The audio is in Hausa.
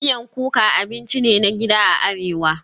Miyan kuka abinci ne na gida a Arewa